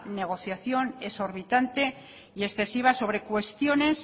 negociación exorbitante y excesiva sobre cuestiones